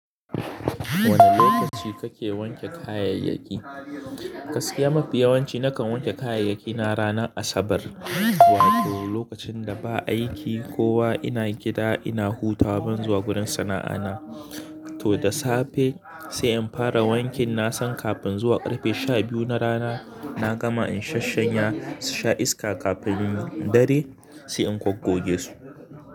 Wane lokaci kake wanke kayayyaki? Gaskiya mafi yawanci nakan wanke kayayyaki na ranar Asabar, wato lokacin da ba aiki kowa ina gida ina hutawa ban zuwa gurin sana'a na. To da safe sai in fara wankin na san kafin zuwa karfe sha biyu na rana na gama in shashshanya susha iska kafin dare sai in kwaggoge su.